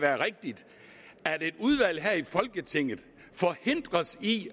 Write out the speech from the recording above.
være rigtigt at et udvalg her i folketinget forhindres i